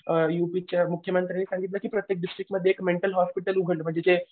अ युपीच्या मुख्यमंत्र्यांनी सागणीतलं की प्रत्येक डिस्ट्रिक्टमध्ये एक मेंटल हॉस्पिटल उघडलं पाहिजे. म्हणजे जे